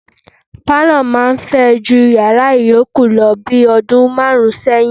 Pálọ̀ máa ń fẹ ju yàrá yòókù lọ bi ọdún márùn-ún sẹ́yìn.